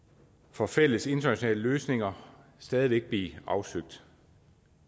for fælles internationale løsninger stadig væk blive afsøgt